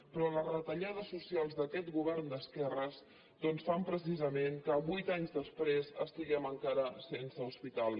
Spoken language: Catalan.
però les retallades socials d’aquest govern d’esquerres doncs fan precisament que vuit anys després estiguem encara sense hospital